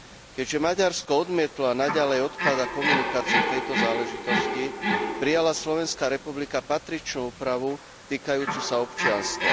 Keďže Maďarsko odmietlo a naďalej odkladá komunikáciu v tejto záležitosti, prijala Slovenská republika patričnú úpravu týkajúcu sa občianstva.